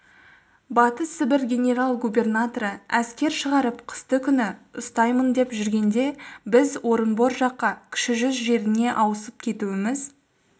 батыс сібір генерал-губернаторы әскер шығарып қысты күні ұстаймын деп жүргенде біз орынбор жаққа кіші жүз жеріне ауысып кетуіміз